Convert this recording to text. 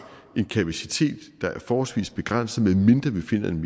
en kapacitet der er forholdsvis begrænset medmindre vi finder en